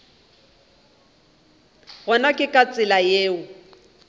gona ke ka tsela yeo